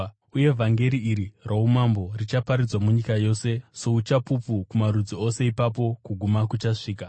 Uye vhangeri iri roumambo richaparidzwa munyika yose souchapupu kumarudzi ose, ipapo kuguma kuchasvika.